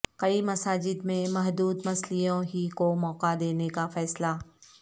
کئی مساجد میں محدود مصلیوں ہی کو موقع دینے کا فیصلہ